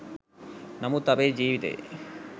නමුත් අපේ ජීවිතයේ